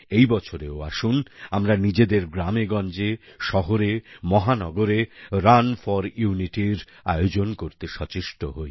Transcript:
এই বছরেও আসুন আমরা নিজেদের গ্রামেগঞ্জে শহরেমহানগরে রান ফোর Unityর আয়োজন করতে সচেষ্ট হই